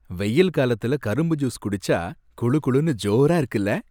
வெயில் காலத்துல கரும்பு ஜூஸ் குடிச்சா குளுகுளுன்னு ஜோரா இருக்குல!